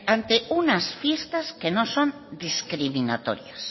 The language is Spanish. ante unas fiestas que no son discriminatorias